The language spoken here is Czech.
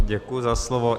Děkuji za slovo.